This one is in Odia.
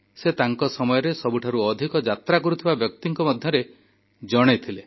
ସେ ତାଙ୍କ ସମୟରେ ସବୁଠାରୁ ଅଧିକ ଯାତ୍ରା କରୁଥିବା ବ୍ୟକ୍ତିଙ୍କ ମଧ୍ୟରେ ଜଣେ ଥିଲେ